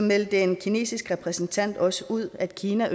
meldte en kinesisk repræsentant også ud at kina